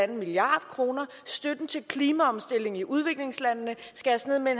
en milliard kroner støtten til klimaomstilling i udviklingslandene skæres ned med